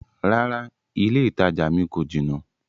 Rárá, ilẹ́ ìtajà mi kò jinà.